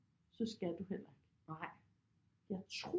Så skal du heller ikke jeg tror